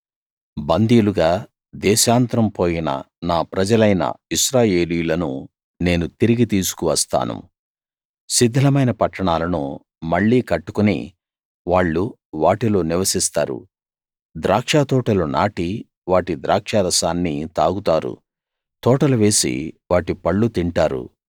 బందీలుగా దేశాంతరం పోయిన నా ప్రజలలైన ఇశ్రాయేలీయులను నేను తిరిగి తీసుకు వస్తాను శిథిలమైన పట్టణాలను మళ్ళీ కట్టుకుని వాళ్ళు వాటిలో నివసిస్తారు ద్రాక్షతోటలు నాటి వాటి ద్రాక్షారసాన్ని తాగుతారు తోటలు వేసి వాటి పళ్ళు తింటారు